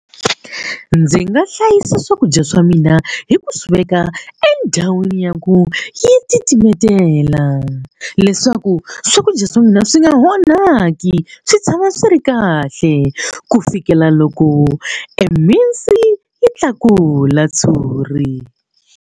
Ndzi nga hlayisa swakudya swa mina hi ku swi veka endhawini ya ku yi titimetela leswaku swakudya swa mina swi nga onhaki swi tshama swi ri kahle ku fikela loko e mhinsi yi tlakula tshuri.